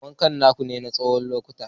Wakan na kunne na tsawon lokuta.